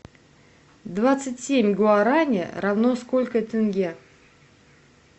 двадцать семь гуарани равно сколько тенге